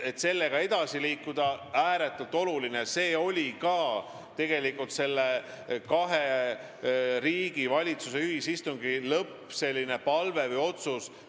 Ja tegelikult avaldus selline palve või otsus ka kahe riigi valitsuse ühisistungi lõpus.